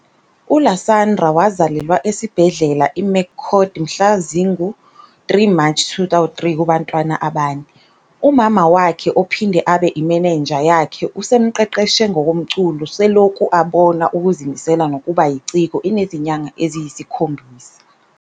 ULasandra wazalelwa esibhedlela iMcCord mhlazi ngu 3 March 2003 kubantwana abane. UMama wakhe ophinde abe imanager yakhe usemqeqeshe ngokomculo seloku abona ukuzimisela nokuba yiciko enezinyanga eziyisi khombisa.